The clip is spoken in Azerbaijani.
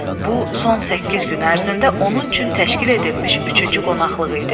Bu son səkkiz gün ərzində onun üçün təşkil edilmiş üçüncü qonaqlığı idi.